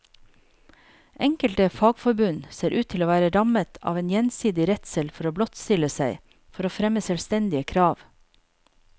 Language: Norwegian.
Enkelte fagforbund ser ut til å være rammet av en gjensidig redsel for å blottstille seg, for å fremme selvstendige krav.